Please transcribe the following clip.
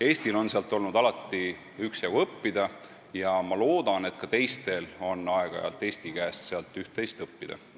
Eestil on alati olnud sealt üksjagu õppida ja ma loodan, et ka teistel on aeg-ajalt Eesti käest üht-teist õppida.